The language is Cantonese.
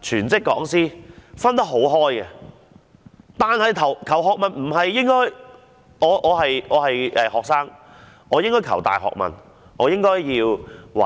全職講師的教學工作卻分得很清楚，但求學態度不應如此。